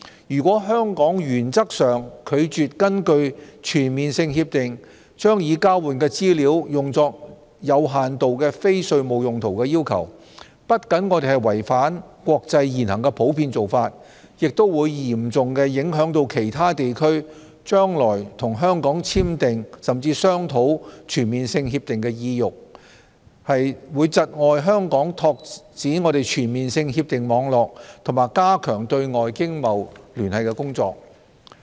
如果香港原則上拒絕根據全面性協定將已交換的資料用作有限度非稅務用途的要求，我們不僅違反國際現行普遍做法，也會嚴重影響其他地區將來與香港簽訂、甚至商討全面性協定的意欲，窒礙香港拓展全面性協定網絡和加強對外經貿聯繫的工作。